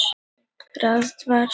Hvaða frumefni hefur efnatáknið Fe?